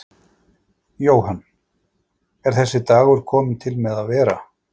Jóhann: Er þessi dagur kominn til með að vera?